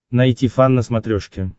найти фан на смотрешке